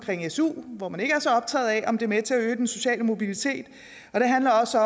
su hvor man ikke er så optaget af om den er med til at øge den sociale mobilitet og det handler også